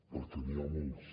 perquè n’hi ha molts